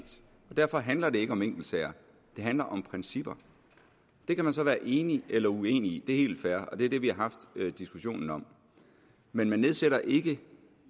derfor handler det ikke om enkeltsager det handler om principper det kan man så være enig eller uenig i det er helt fair og det er det vi har haft diskussionen om men man nedsætter ikke